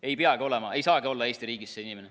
Ei peagi olema, ei saagi olla Eesti riigis see inimene.